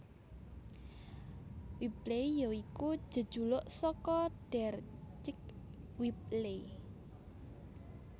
Whibley ya iku jejuluk saka Deryck Whibley